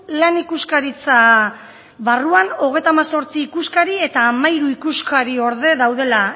lan ikuskaritza barruan hogeita hemezortzi ikuskari eta hamairu ikuskariorde daudela